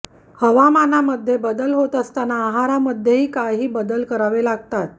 हवामानामध्ये बदल होत असताना आहारामध्येही काही बदल करावे लागतात